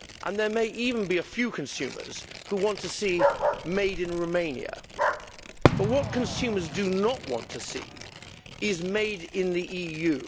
There may even be a few consumers who want to see made in Romania', but what consumers do not want to see is made in the EU.'